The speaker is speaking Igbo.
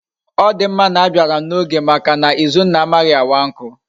Odimma na abiaram na oge Maka na izunna amaghi awa nku